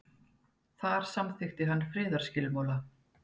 þar samþykkti hann friðarskilmála